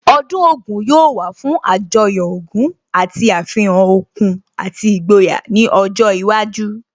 Ọdún Ògún yóò wà fún Àjọyọ̀ ogún àti àfihàn okun àti ìgboyà ní ọjọ́ iwájú